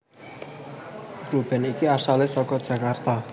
Grup band iki asale saka Jakarta